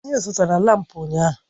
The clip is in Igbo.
Anyị zụtara lámpu ụnyaahụ